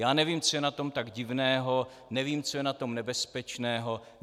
Já nevím, co je na tom tak divného, nevím, co je na tom nebezpečného.